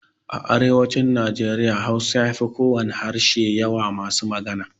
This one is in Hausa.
A arewacin Nijeriya Hausa ya fi kowane harshe yawa masu magana.